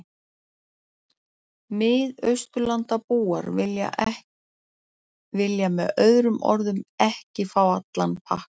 Mið-Austurlandabúar vilja með öðrum orðum ekki fá allan pakkann.